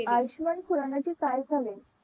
आयुष्मान खुराणा चे काय झाले